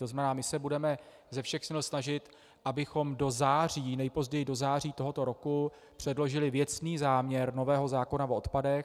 To znamená, my se budeme ze všech sil snažit, abychom do září, nejpozději do září tohoto roku, předložili věcný záměr nového zákona o odpadech.